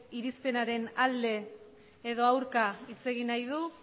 irizpenaren alde edo aurka hitz egin nahi du